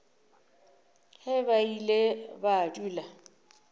ge ba ile ba dula